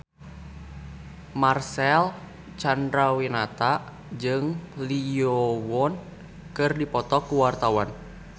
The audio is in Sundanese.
Marcel Chandrawinata jeung Lee Yo Won keur dipoto ku wartawan